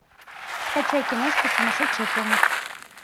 скачай киношку сумасшедшая помощь